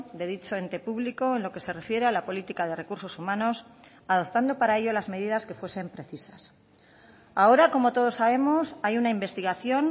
de dicho ente público en lo que se refiere a la política de recursos humanos adoptando para ello las medidas que fuesen precisas ahora como todos sabemos hay una investigación